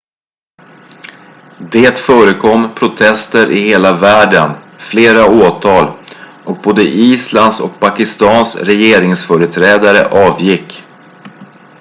det förekom protester i hela världen flera åtal och både islands och pakistans regeringsföreträdare avgick